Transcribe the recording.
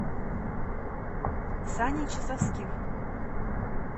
сане часовских